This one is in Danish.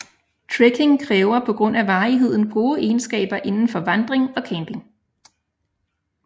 Trekking kræver på grund af varigheden gode egenskaber indenfor vandring og camping